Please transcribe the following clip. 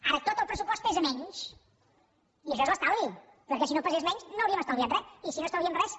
ara tot el pressupost pesa menys i això és l’estalvi perquè si no pesés menys no hauríem estalviat res i si no estalviem res